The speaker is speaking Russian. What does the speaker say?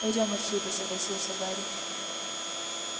пойдём отсюда согласился гарри